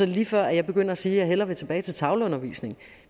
lige før jeg begynder at sige at jeg hellere vil tilbage til tavleundervisning